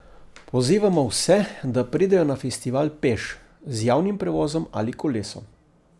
Pozivamo vse, da pridejo na festival peš, z javnim prevozom ali kolesom.